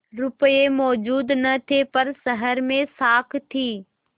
रुपये मौजूद न थे पर शहर में साख थी